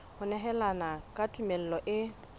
ho nehelana ka tumello e